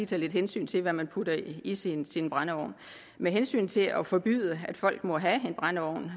tage lidt hensyn til hvad man putter i sin sin brændeovn med hensyn til at forbyde at folk må have en brændeovn